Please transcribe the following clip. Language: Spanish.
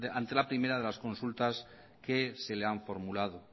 ante la primera de las consultas que se le han formulado